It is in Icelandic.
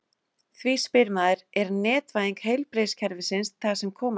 Því spyr maður: Er netvæðing heilbrigðiskerfisins það sem koma skal?